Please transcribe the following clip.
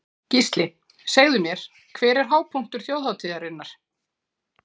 Gísli: Segðu mér, hver er hápunktur þjóðhátíðarinnar?